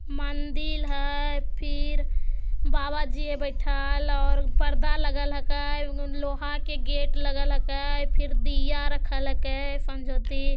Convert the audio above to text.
मंदिर हेय फिर बाबा जी हेय बैठएल और उ पर्दा लगल हेके लोहा के गेट लगल हेके फिर दिया रखल हेके संझोती।